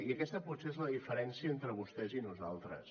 i aquesta potser és la diferència entre vostès i nosaltres